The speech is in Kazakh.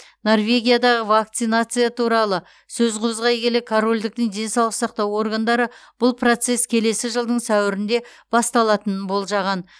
норвегиядағы вакцинация туралы сөз қозғай келе корольдіктің денсаулық сақтау органдары бұл процесс келесі жылдың сәуірінде басталатынын болжаған